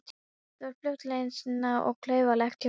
Þetta var fljótfærnislegt og klaufalegt hjá Svenna.